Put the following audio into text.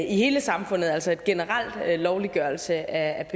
i hele samfundet altså en generel lovliggørelse af